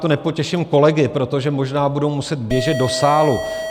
To nepotěším kolegy, protože možná budou muset běžet do sálu.